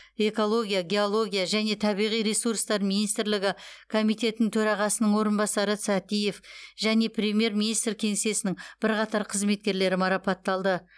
экология геология және табиғи ресурстар министрлігі комитетінің төрағасының орынбасары сәтиев және премьер министр кеңсесінің бірқатар қызметкерлері марапатталды